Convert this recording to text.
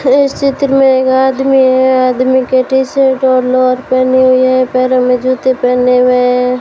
इस चित्र में एक आदमी है आदमी के टी शर्ट और लोअर पहने हुए हैं पैरों में जूते पहने हुए हैं।